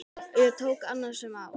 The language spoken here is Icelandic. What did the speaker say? Við tóku annasöm ár.